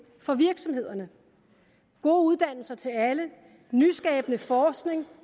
for virksomhederne gode uddannelser til alle nyskabende forskning